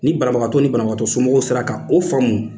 Ni barabagatɔw ni banabagatɔ somɔgɔw sera ka o famu